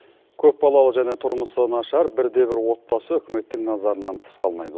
көп балалы және тұрмысы нашар бірде бір отбасы үкіметтің назарынан тыс қалмайды